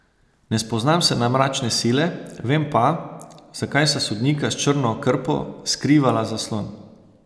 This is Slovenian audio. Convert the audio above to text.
Ne spoznam se na mračne sile, vem pa, zakaj sta sodnika s črno krpo skrivala zaslon.